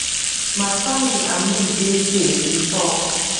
my family and me dey safe e tok